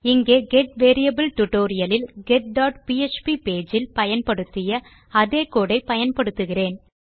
இங்கே get variable tutorial லில் get PHP page இல் பயன்படுத்திய அதே கோடு ஐ பயன்படுத்துகிறேன்